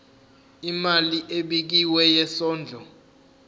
imali ebekiwe yesondlo